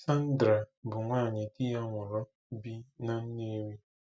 Sandra bụ nwanyị di ya nwụrụ bi na Nnewi.